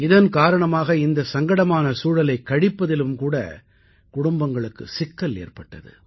இதன் காரணமாக இந்தச் சங்கடமான சூழலைக் கழிப்பதிலும் கூட குடும்பங்களுக்குச் சிக்கல் ஏற்பட்டது